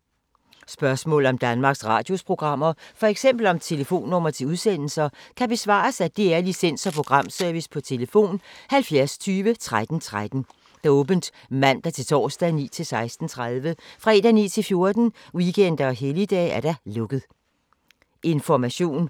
Spørgsmål om Danmarks Radios programmer, f.eks. om telefonnumre til udsendelser, kan besvares af DR Licens- og Programservice: tlf. 70 20 13 13, åbent mandag-torsdag 9.00-16.30, fredag 9.00-14.00, weekender og helligdage: lukket.